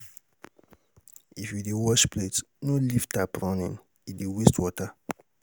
If you dey wash plate, no leave tap running, e dey waste water.